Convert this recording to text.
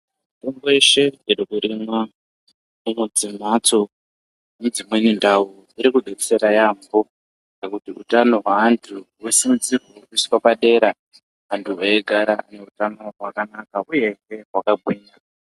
Mitombo yeshe iri kurimwa mundau dzemhatso nedzimweni ndau dzeshe iri kubetsera maningi ngekuti utano hweantu hunosisirwe kuiswe padera antu veigara neutano hwakanaka uyezve hwakagwinya.